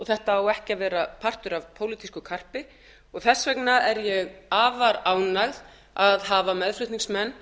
þetta á ekki að vera partur af pólitísku karpi og þess vegna er ég afar ánægð að hafa meðflutningsmenn